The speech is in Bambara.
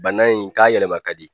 Bana in k'a yɛlɛma ka di